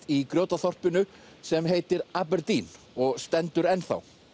í Grjótaþorpinu sem heitir Aberdeen og stendur ennþá